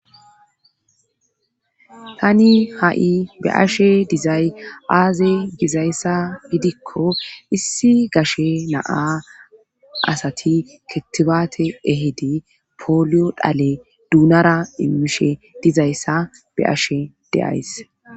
Tani ha'i be ashe dizay aaze gizayssa gidikko issi gashe naa asati kettibaate ehedi poolyo dhale duunara immishe dizayssa be ashe deays